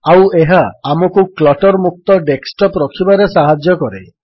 ଆଉ ଏହା ଆମକୁ କ୍ଲଟର୍ ମୁକ୍ତ ଡେସ୍କଟପ୍ ରଖିବାରେ ସାହାଯ୍ୟ କରେ